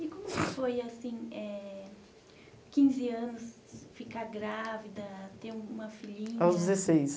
E como que foi, assim, eh quinze anos, ficar grávida, ter uma filhinha... Aos dezesseis.